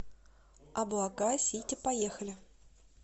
облака сити поехали